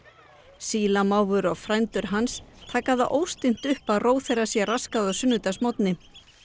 sílamávur og frændur hans taka það óstinnt upp að ró þeirra sé raskað á sunnudagsmorgni